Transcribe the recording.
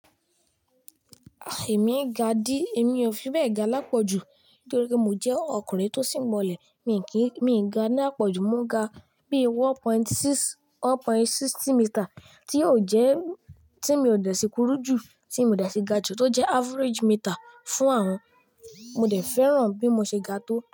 Èmi ga dí, èmi ò fi bẹ ga lápọ̀jù nítorí mo jẹ́ ọkùnrin tó śngbọnlẹ̀. Mì kí ń, mì í ga ní àpọ̀jù, mo ga bí i one point six, one point sixty meter tí yóò jẹ́, tí mi ò dẹ̀ sí kúrú jù, tí mi ò dẹ̀ sí ga jù tó jẹ́ average meter fún àwọn. Mo dẹ̀ fẹ́ràn bí mo ṣe ga tó.